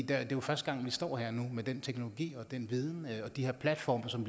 er jo første gang vi står med den teknologi den viden og de her platforme som